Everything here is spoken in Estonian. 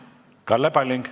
Kalle Palling.